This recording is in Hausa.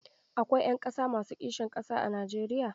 Akwai ‘yan ƙasa masu kishin ƙasa a Najeriya.